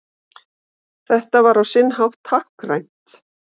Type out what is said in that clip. Þetta var á sinn hátt táknrænt